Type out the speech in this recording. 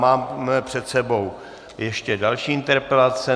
Mám před sebou ještě další interpelace.